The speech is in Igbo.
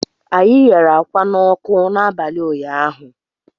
Anyị ghere ákwá n'ọkụ n'abalị ụnyaahụ